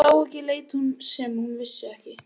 Það sem hún sá ekki lét hún sem hún vissi ekki.